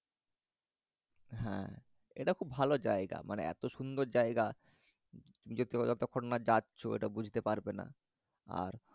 হ্যাঁ এটা খুব ভালো জায়গা মানে এত সুন্দর জায়গা নিজে তুমি যতক্ষণ না যাচ্ছ এটা বুঝতে পারবে না, আর